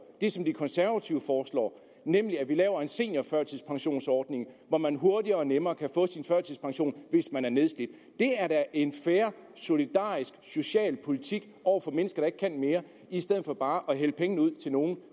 det som de konservative foreslår nemlig at vi laver en seniorførtidspensionsordning hvor man hurtigere og nemmere kan få sin førtidspension hvis man er nedslidt det er da en fair solidarisk og social politik over for mennesker der ikke kan mere i stedet for bare at hælde penge ud til nogle